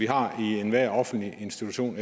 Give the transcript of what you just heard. har i enhver offentlig institution